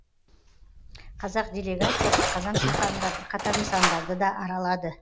қазақ делегациясы қазан шаһарында бірқатар нысандарды да аралады